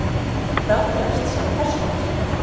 Frá dregst síðan persónuafsláttur.